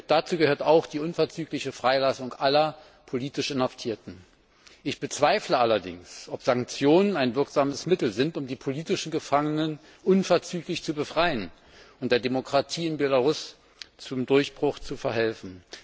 Dazu gehört auch die unverzügliche Freilassung aller politisch Inhaftierten. Ich bezweifle allerdings, ob Sanktionen ein wirksames Mittel sind, um die politischen Gefangenen unverzüglich zu befreien und der Demokratie in Belarus zum Umbruch zu verhelfen.